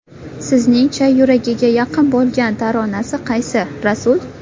Sizning-cha, yuragiga yaqin bo‘lgan taronasi qaysi, Rasul?